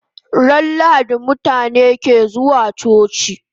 Ran lahadi mutabe ke zuwa coci